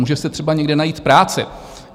Může si třeba někde najít práci.